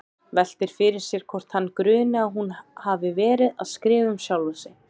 Veltir fyrir sér hvort hana gruni að hún hafi verið að skrifa um sjálfa sig.